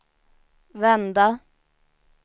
vända